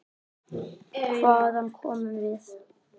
Hvaðan komum við?